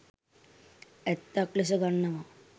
ඇත්තක් ලෙස ගන්නවා.